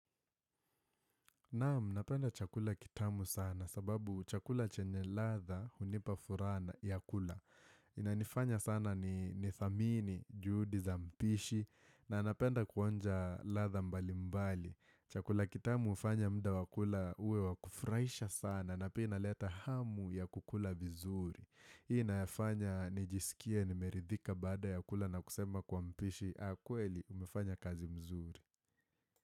Naam, napenda chakula kitamu sana sababu chakula chenye ladha hunipa furaha ya kula. Inanifanya sana ni nidhamini, juhudi za mpishi na napenda kuonja ladha mbali mbali. Chakula kitamu hufanya muda wa kula uwe wa kufurahisha sana na pia inaleta hamu ya kukula vizuri. Hii nafanya nijisikie nimeridhika baada ya kula na kusema kwa mpishi. Akweli, umefanya kazi mzuri.